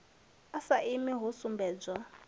a sa imi ho sumbedzwa